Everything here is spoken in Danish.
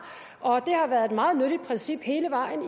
og det har været et meget nyttigt princip hele vejen